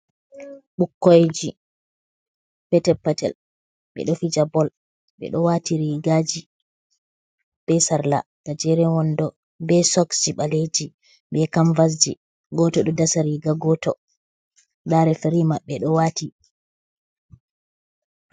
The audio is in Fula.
Bukkoyji petel patel be ɗo fi ja bol, beɗo wati rigaji be sarla gajeren wondo be soksji baleji, be kamvasji. Goto ɗo dasariga goto da refrimaɓbe do wati.